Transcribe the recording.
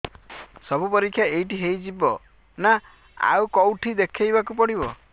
ସବୁ ପରୀକ୍ଷା ଏଇଠି ହେଇଯିବ ନା ଆଉ କଉଠି ଦେଖେଇ ବାକୁ ପଡ଼ିବ